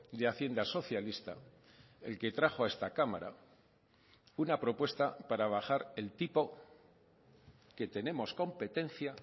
de hacienda socialista el que trajo a esta cámara una propuesta para bajar el tipo que tenemos competencia